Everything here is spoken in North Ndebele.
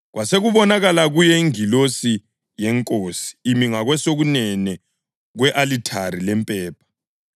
Kwasekubonakala kuye ingilosi yeNkosi imi ngakwesokunene kwe-alithari lempepha.